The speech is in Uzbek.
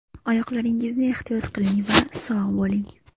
Oyoqlaringizni ehtiyot qiling va sog‘ bo‘ling!